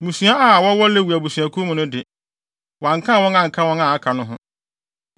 Mmusua a wɔwɔ Lewi abusuakuw no de, wɔankan wɔn anka wɔn a aka no ho.